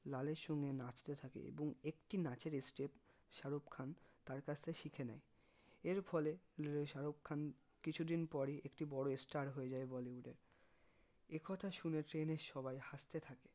লালের সঙ্গে নাচতে থাকে এবং একটি নাচের step শারুখ খান তার কাছ থেকে শিখে নেই এর ফলে শারুখ খান কিছুদিন পরই একটি বড়ো star হয়ে যাই bollywood এ একথা শুনে ট্রেনের সবাই হাসতে থাকে